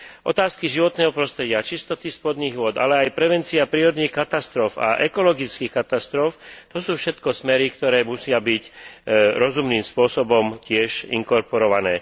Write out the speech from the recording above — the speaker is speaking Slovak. Otázky životného prostredia, čistoty spodných vôd, ale aj prevencia prírodných katastrof a ekologických katastrof, to sú všetko smery, ktoré musia byť rozumným spôsobom tiež inkorporované.